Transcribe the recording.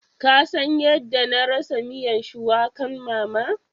Ka San yadda na rasa miyan shuwakan mama?